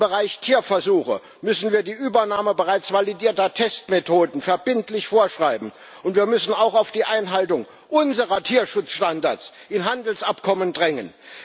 Im Bereich Tierversuche müssen wir die Übernahme bereits validierter Testmethoden verbindlich vorschreiben, und wir müssen auch auf die Einhaltung unserer Tierschutzstandards in Handelsabkommen drängen.